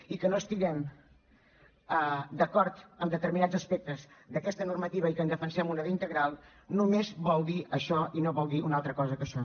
i que no estiguem d’acord amb determinats aspectes d’aquesta normativa i que en defensem una d’integral només vol dir això i no vol dir una altra cosa que això